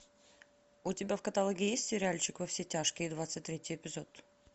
у тебя в каталоге есть сериальчик во все тяжкие двадцать третий эпизод